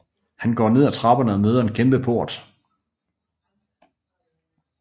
Han går ned ad trapperne og møder en kæmpe port